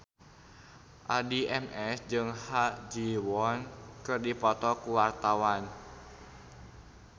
Addie MS jeung Ha Ji Won keur dipoto ku wartawan